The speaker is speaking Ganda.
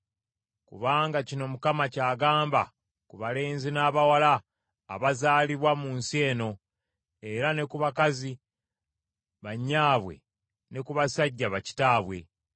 Kubanga kino Mukama ky’agamba ku balenzi n’abawala abazaalibwa mu nsi eno era ne ku bakazi ba nnyaabwe ne ku basajja ba kitaabwe.